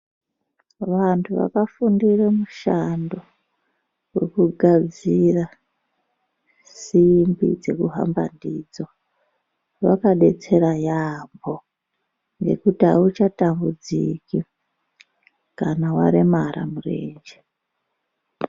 Vantu vakafundire mushando wekugadzira simbi dzekuhamba ndidzo, vakadetsera yaambho ngekuti auchatambudziki kana waremara murenje.